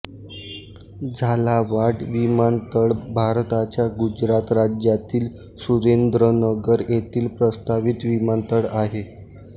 झालावाड विमानतळ भारताच्या गुजरात राज्यातील सुरेंद्रनगर येथील प्रस्तावित विमानतळ आहे